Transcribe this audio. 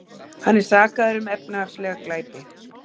Hann er sakaður um efnahagslega glæpi